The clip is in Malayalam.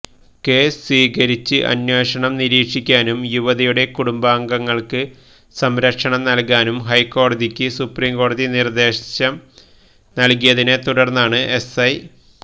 കേസ് സ്വീകരിച്ച് അന്വേഷണം നിരീക്ഷിക്കാനും യുവതിയുടെ കുടുംബാംഗങ്ങൾക്ക് സംരക്ഷണം നൽകാനും ഹൈക്കോടതിക്ക് സുപ്രിംകോടതി നിർദ്ദേശം നൽകിയതിനെ തുടർന്നാണ് എസ്ഐ